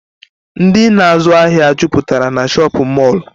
Ndị na azụ ahịa jụputara n'shopịn mọrlụ.